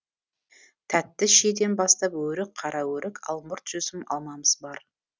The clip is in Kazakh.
тәтті шиеден бастап өрік қара өрік алмұрт жүзім алмамыз бар